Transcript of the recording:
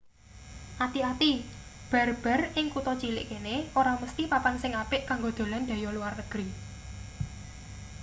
ati-ati bar-bar ing kutha cilik kene ora mesthi papan sing apik kanggo dolan dhayoh luar negri